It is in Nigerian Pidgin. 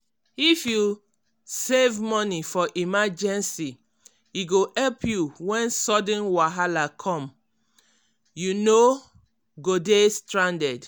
if you um save money for emergency e go help you when sudden wahala um come so you no go dey stranded.